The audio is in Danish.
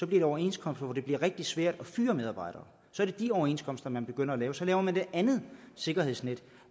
det overenskomster hvor det bliver rigtig svært at fyre medarbejdere så er det de overenskomster man begynder at lave så laver man det andet sikkerhedsnet